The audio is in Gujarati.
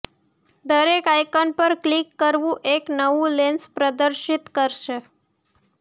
દરેક આયકન પર ક્લિક કરવું એક નવું લેન્સ પ્રદર્શિત કરશે